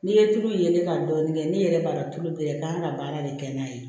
N'i ye tulu ye ka dɔɔnin kɛ n'i yɛrɛ b'a dɔn tulu bɛ yen i k'an ka baara de kɛ n'a ye